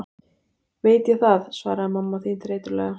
Veit ég það, svaraði mamma þín þreytulega.